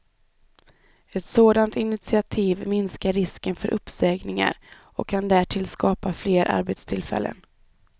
Ett sådant initiativ minskar risken för uppsägningar och kan därtill skapa fler arbetstillfällen.